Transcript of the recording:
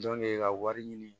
ka wari ɲini